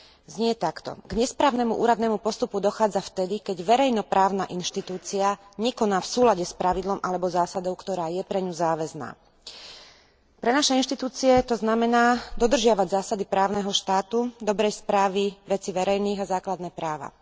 Znie takto K nesprávnemu úradnému postupu dochádza vtedy, keď verejnoprávna inštitúcia nekoná v súlade s pravidlom alebo zásadou, ktorá je pre ňu záväzná. Pre naše inštitúcie to znamená dodržiavať zásady právneho štátu, dobrej správy vecí verejných a základné práva.